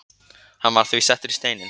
Hann var því settur í steininn